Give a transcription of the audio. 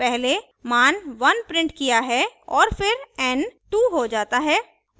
पहले मान 1 printed किया है और फिर n 2 हो जाता है